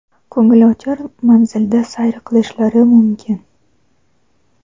ko‘ngilochar manzilda sayr qilishlari mumkin.